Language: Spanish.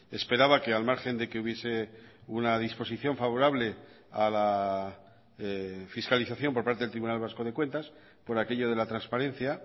esperaba que al margen de que hubiese una disposición favorable a la fiscalización por parte del tribunal vasco de cuentas por aquello de la transparencia